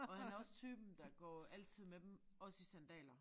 Og han er også typen der går altid med dem også i sandaler